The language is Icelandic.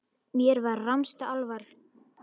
Mér var rammasta alvara.